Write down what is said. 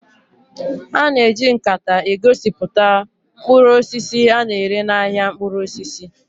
A na-eji nkata egosipụta mkpụrụ osisi a na-ere n'ahịa mkpụrụ osisi